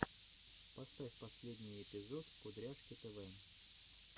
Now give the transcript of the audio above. поставь последний эпизод кудряшки тв